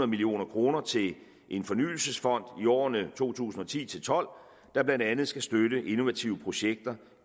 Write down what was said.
million kroner til en fornyelsesfond i årene to tusind og ti til tolv der blandt andet skal støtte innovative projekter